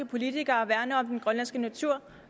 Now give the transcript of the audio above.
politikere værner om den grønlandske natur